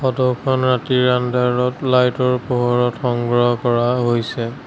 ফটোখন ৰাতি আন্ধাৰত লাইটৰ পোহৰত সংগ্ৰহ কৰা হৈছে।